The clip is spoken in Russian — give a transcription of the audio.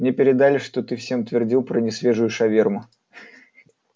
мне передали что ты всем твердил про несвежую шаверму